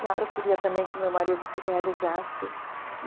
Claro, eu queria também que o meu marido se realizasse e.